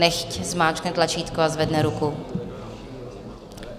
Nechť zmáčkne tlačítko a zvedne ruku.